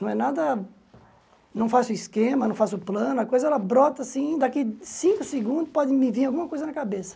Não é nada, não faço esquema, não faço plano, a coisa ela brota assim, daqui cinco segundos pode me vir alguma coisa na cabeça.